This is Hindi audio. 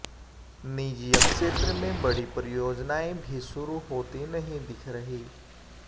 निजी क्षेत्र में बड़ी परियोजनाएं भी शुरू होती नहीं दिख रहीं